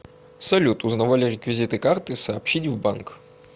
салют узнавали реквизиты карты сообщить в банк